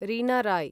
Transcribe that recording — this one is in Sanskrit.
रीना रॉय्